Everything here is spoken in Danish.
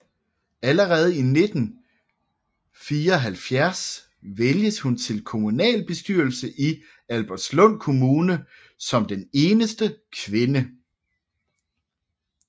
Allerede i 1974 vælges hun til kommunalbestyrelsen i Albertslund Kommune som eneste kvinde